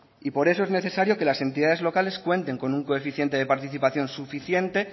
y por eso es necesario que las entidades locales cuenten con un coeficiente de participación suficiente